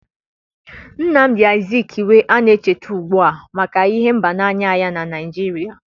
nnamdi Azikiwe na-echeta ugbu a maka ịhụ mba n'anya ya na Naijiria.